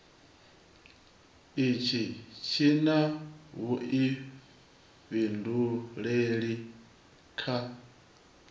itshi tshi na vhuifhinduleli kha